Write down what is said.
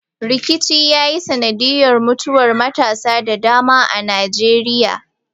Rikici ya yi sanadiyar mutuwar matasa da dama a Najeriya.